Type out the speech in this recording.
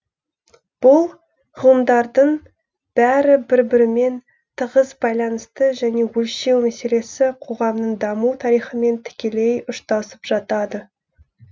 бұл ғылымдардың бәрі бір бірімен тығыз байланысты және өлшеу мәселесі коғамның даму тарихымен тікелей ұштасып жатады